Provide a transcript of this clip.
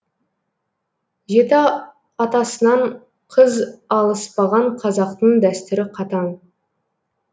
жеті атасынан қыз алыспаған қазақтың дәстүрі қатаң